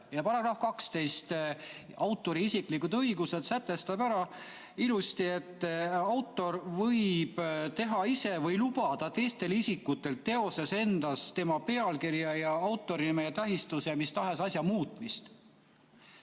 Ja § 12, isiklikud õigused, sätestab ära ilusti, et autor võib teha ise või lubada teha teistel isikutel teoses endas, tema pealkirjas või autorinime tähistuses mis tahes muudatusi.